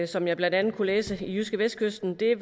som jeg blandt andet kunne læse om i jydskevestkysten er